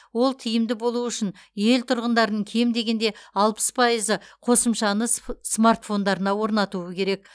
ол тиімді болуы үшін ел тұрғындарын кем дегенде алпыс пайызы қосымшаны сф смартфондарына орнатуы керек